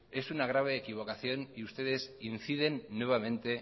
es una grave equivocación y ustedes inciden nuevamente